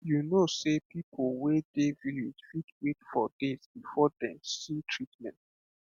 you know sey people wey dey village fit wait days before dem see treatment